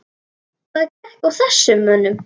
Hvað gekk að þessum mönnum?